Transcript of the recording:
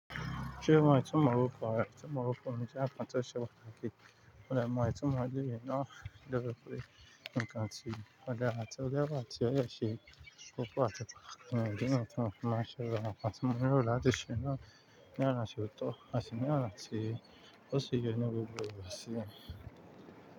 Ṣé o mọ itumọ orukọ rẹ? Itemọ orukọ mi jẹ nnkan tose pataki. Mo de mọ ìtumọ ìbéèrè náà dé bi pe nǹkan ti o dara ti o de wa ti o de se koko ati- idi niyen ti mọ́ fi máa n ṣe awon nkan tí mo lero láti ṣe ná ní ona ti ò tọ́. Ati ni ona ti o si ye ni gbogbo igba simi.